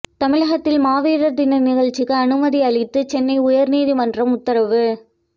தமிழகத்தில் மாவீரர் தின நிகழ்ச்சிக்கு அனுமதி அளித்து சென்னை உயர்நீதிமன்றம் உத்தரவு